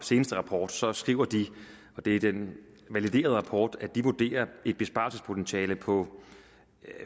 seneste rapport så skriver de og det er den validerede rapport at de vurderer et besparelsespotentiale på